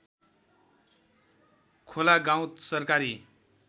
खोला गाउँ सरकारी